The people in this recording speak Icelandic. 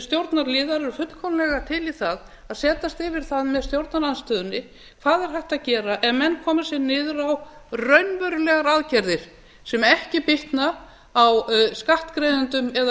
stjórnarliðar eru fullkomlega til í það að setjast yfir það með stjórnarandstöðunni hvað er hægt að gera ef menn koma sér niður á raunverulegar aðgerðir sem ekki bitna á skattgreiðendum eða